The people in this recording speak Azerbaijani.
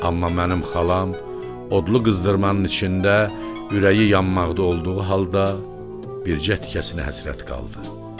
Amma mənim xalam odlu qızdırmanın içində ürəyi yanmaqda olduğu halda, bircə tikə buzuna həsrət qaldı.